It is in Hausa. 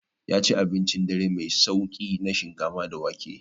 Ya ci abincin dare mai sauƙi na shinkafa da wake.